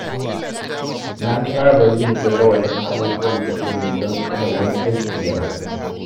Na saba yin jadawalin abubuwan da zan yi don kada wani aiki ya ragu